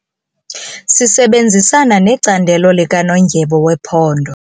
Sisebenzisana necandelo likanondyebo wephondo.